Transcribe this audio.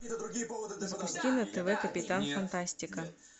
запусти на тв капитан фантастика